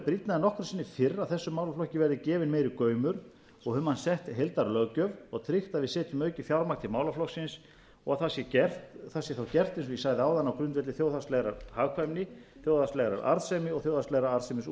nokkru sinni fyrr að þessum málaflokki verði gefinn meiri gaumur og um hann sett heildarlöggjöf og tryggt að við setjum aukið fjármagn til málaflokksins og það sé gert það sé gert eins og ég sagði áðan á grundvelli þjóðhagslegrar hagkvæmni þjóðhagslegrar arðsemi og þjóðhagslegra útreikninga ég er sannfærður